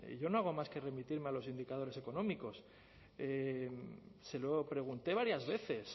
yo no hago más que remitirme a los indicadores económicos se lo pregunté varias veces